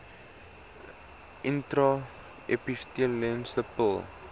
intra epiteelletsel pil